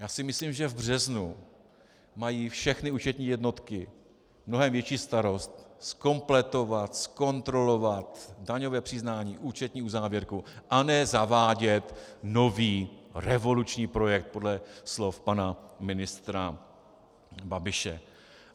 Já si myslím, že v březnu mají všechny účetní jednotky mnohem větší starost zkompletovat, zkontrolovat daňové přiznání, účetní uzávěrku, a ne zavádět nový revoluční projekt - podle slov pana ministra Babiše.